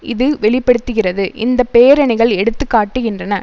இது வெளி படுத்துகிறது இந்த பேரணிகள் எடுத்து காட்டுகின்றன